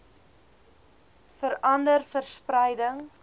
vera nder verspreiding